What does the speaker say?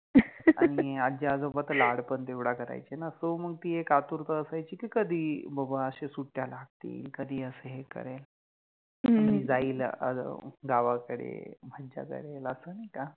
आणि आजी आजोबा त लाड पण तेवडा करायचे न सो मंग ति एक आतुरता असायचि कि कधी बाबा अशे सुट्ट्या लागतिल, कधि अस हे करेल, ह्म्म कधी जाइल गावाकडे, मज्जा करेल, अस नाहि का